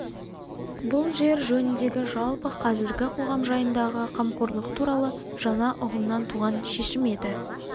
бұл жер жөніндегі жалпы қазіргі қоғам жайындағы қамқорлық туралы жаңа ұғымнан туған шешім еді